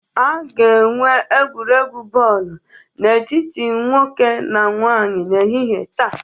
A ga-enwe egwuregwu bọọlụ n'etiti nwoke na nwanyị n'ehihie taa